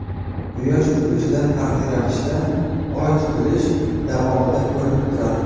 Quyosh tutilishidan farqli ravishda Oy tutilish davomida ko‘rinib turadi.